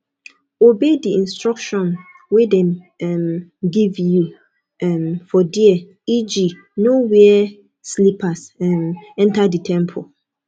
obey di instruction wey dem um give you um for there eg no wear slippers um enter di temple